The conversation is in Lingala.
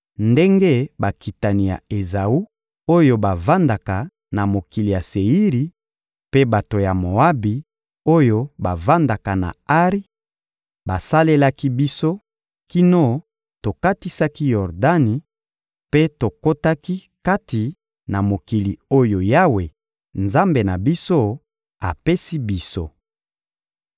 ndenge bakitani ya Ezawu, oyo bavandaka na mokili ya Seiri, mpe bato ya Moabi, oyo bavandaka na Ari, basalelaki biso kino tokatisaki Yordani mpe tokotaki kati na mokili oyo Yawe, Nzambe na biso, apesi biso.»